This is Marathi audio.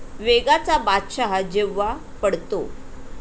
वेगाचा बादशाह जेव्हा 'पडतो'